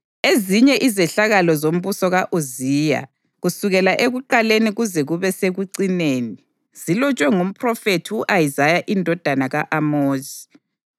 Ezinye izehlakalo zombuso ka-Uziya, kusukela ekuqaleni kuze kube sekucineni, zilotshwe ngumphrofethi u-Isaya indodana ka-Amozi.